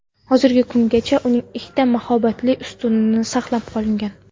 Hozirgi kungacha uning faqat ikki mahobatli ustuni saqlanib qolgan.